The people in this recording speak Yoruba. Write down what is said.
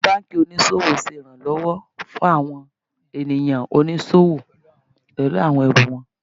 Àwọn banki oníṣòwò ṣe ìrànlọ́wọ́ fún àwọn ènìyàn oníṣòwò pẹlú àwọn ẹrù wọn.